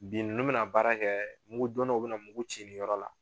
Bi nunnu bɛna baara kɛ mugu donnaw bena mugu ci nin yɔrɔ la